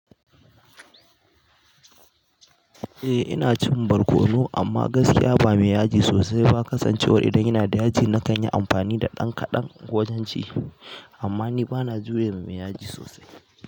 Eh ina cin barkono amma gaskiya ba mai yaji sosai ba. Kasancewar idan yana da yaji na kanyi amfani da ɗan kaɗan wajen ci. Amma ni bana juya mai yaji sosai.